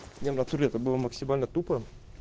не в натуре это было максимально тупо